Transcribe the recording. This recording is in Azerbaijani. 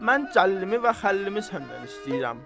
Mən Cəlilimi və Xəlilimi səndən istəyirəm.